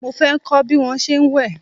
Mo fẹ́ kọ́ bí wón ṣe ń wẹ̀.